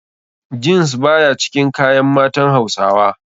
Jeans baya cikin kayan matan hausawa.